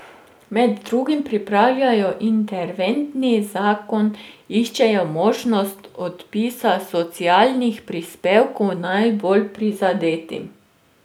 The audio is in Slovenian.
Med drugim pripravljajo interventni zakon, iščejo možnost odpisa socialnih prispevkov najbolj prizadetim.